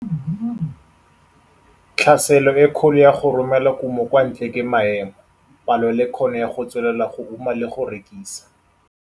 Tlhaselo e kgolo ya go romela kumo kwa ntle ke maemo, palo le kgono ya go tswelela go uma le go rekisa.